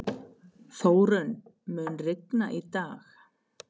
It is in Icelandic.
Þórunn, mun rigna í dag?